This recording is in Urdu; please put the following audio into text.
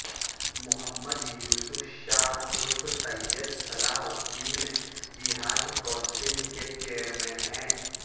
محمد یوسف شاہ عرف سید صلاح الدین جہاد کونسل کے چیئرمین ہیں